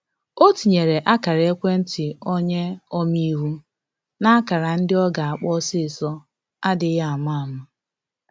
O tinyere ákara-ekwentị onye ome-iwu na ákara ndị ọ ga akpọ osisọ adịghị ama ama